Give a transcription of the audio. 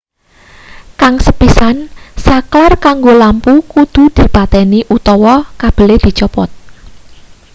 kang sepisan saklar kanggo lampu kudu dipateni utawa kabele dicopot